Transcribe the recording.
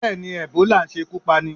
Bẹ́ẹ̀ni, Ẹ̀bólà ń ṣekú pani.